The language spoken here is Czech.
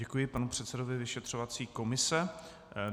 Děkuji panu předsedovi vyšetřovací komise.